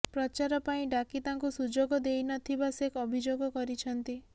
ପ୍ରଚାର ପାଇଁ ଡାକି ତାଙ୍କୁ ସୁଯୋଗ ଦେଇନଥିବା ସେ ଅଭିଯୋଗ କରିଛନ୍ତି